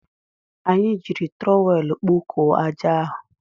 Anyị jiri trọwel kpokọọ aja ahụ.